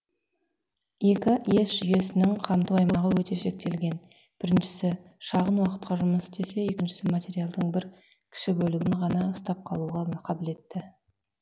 екі ес жүйесінің қамту аймағы өте шектелген біріншісі шағын уақытқа жұмыс істесе екіншісі материалдың кіші бір бөлігін ғана ұстап қалуға қабілетті